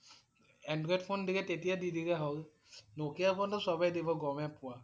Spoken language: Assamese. Android ফোন দিলে তেতিয়া দি দিলে হ'ল। Nokia ফোন টো সৱেই দিব গমেই পোৱা